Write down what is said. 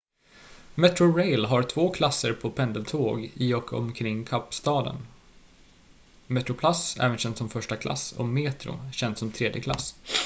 metrorail har två klasser på pendeltåg i och omkring kapstaden: metroplus också känt som första klass och metro känt som tredje klass